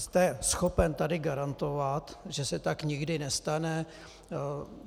Jste schopen tady garantovat, že se tak nikdy nestane?